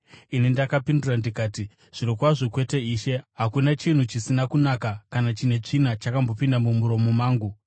“Ndakapindura ndikati, ‘Zvirokwazvo kwete, Ishe! Hakuna chinhu chisina kunaka kana chine tsvina chakatombopinda mumuromo mangu.’